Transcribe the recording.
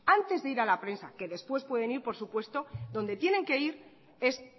antes de ir a la prensa que después pueden ir por supuesto donde tienen que ir es